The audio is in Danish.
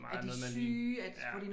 Det er meget noget man lige